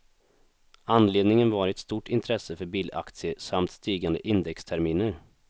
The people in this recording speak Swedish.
Anledningen var ett stort intresse för bilaktier samt stigande indexterminer.